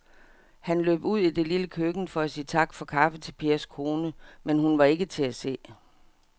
Han løb ud i det lille køkken for at sige tak for kaffe til Pers kone, men hun var ikke til at se.